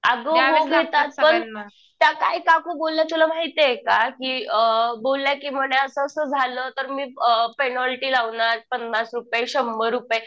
अगं हो घेतात. पण त्या काय काकू बोलल्या तुला माहितीये का? कि बोलल्या कि म्हणे असं असं झालं तर मी पेनॉल्टी लावणार पन्नास रुपये, शंभर रुपये